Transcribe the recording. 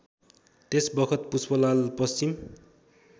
त्यसबखत Pushpalal Paschim